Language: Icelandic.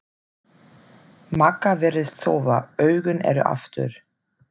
Magga virðist sofa, augun eru aftur.